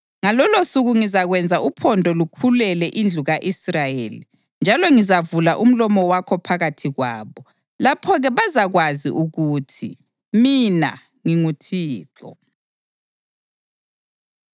Ngalolosuku ngizakwenza uphondo lukhulele indlu ka-Israyeli, njalo ngizavula umlomo wakho phakathi kwabo. Lapho-ke bazakwazi ukuthi mina nginguThixo.”